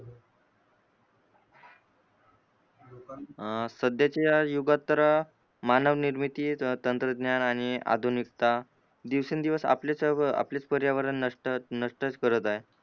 अ सध्याचा युगात तर मानव निर्मिती तंत्रज्ञान आणि आधुनिकता दिवसेंदिवस आपलेच आपलेच पर्यावरण नष्ट नष्टच करत आहे.